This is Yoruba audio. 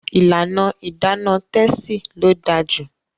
ìlànà Idana Tessy ló dáa jù.